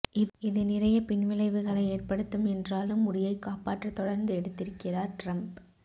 இது நிறைய பின்விளைவுகளை ஏற்படுத்தும் என்றாலும் முடியைக் காப்பாற்ற தொடர்ந்து எடுத்திருக்கிறார் ட்ரம்ப்